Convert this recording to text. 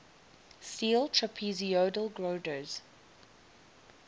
steel trapezoidal girders